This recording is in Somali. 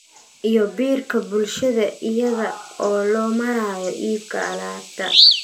Iyo biirka bulshada iyada oo loo marayo iibka alaabta.